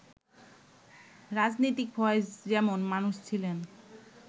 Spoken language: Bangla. রাজনীতিক ফয়েজ যেমন মানুষ ছিলেন